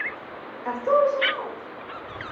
Ert þú þessi maður?